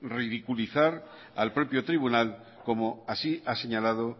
ridiculizar al propio tribunal como así ha señalado